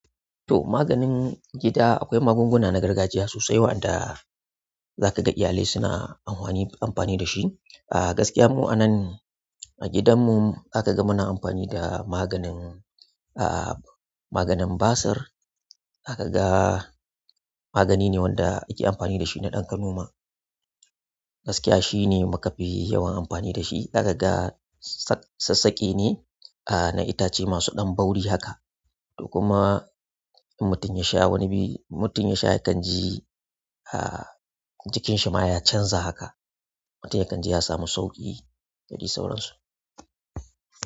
To, maganin gida akwai magunguna na gargajiya sosai waɗanda zaka ga iyalai suna amfani da shi. A gaskiya mu anan a gidanmu za ka ga muna amfani da maganin basir za ka ga magani ne wanda ake amfani da shi na ɗan kanoma. Gaskiya shi ne muka fi yawan amfani da shi. Za ka ga sassaƙe ne na itace masu ɗan bauri haka. Kuma in mutum ya sha wani bai, in mutum ya sha yakan ji jikin shi ma ya canza haka. Mutum ya kan ji ya samu sauƙi da dai sauransu.